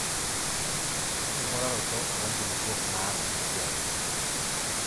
enking'uraroto oo nkulupuok naas esiai.